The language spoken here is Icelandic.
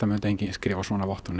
mundi enginn skrifa svona vottorð